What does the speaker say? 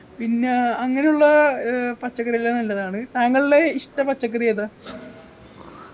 പിന്ന അങ്ങനെയുള്ള ഏർ പച്ചക്കറിയെല്ലാം നല്ലതാണ് താങ്കളുടെ ഇഷ്ട പച്ചക്കറിയേതാ